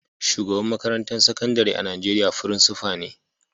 Shugaban makarantan sakandare a'Nijeriya frincipa ne.